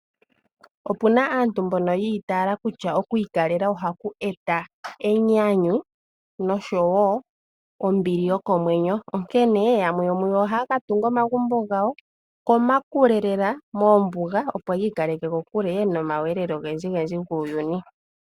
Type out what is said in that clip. Opu naaantu mbono yi itaala kutya oku ikalela ohaku eta enyanyu noshowo ombili yokomwenyo, onkene yamwe yo mu yo ohaya ka tunga omagumbo gawo komakule lela moombuga, opo yi ikaleke komakudhilo ogendjigendji guuyuni.